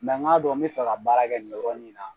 n k'a dɔn n bɛ fɛ ka baara kɛ nin yɔrɔ nin in na.